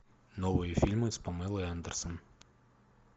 новые фильмы с памелой андерсон